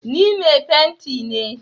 Ni mai fenti ne.